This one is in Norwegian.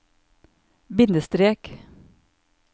bindestrek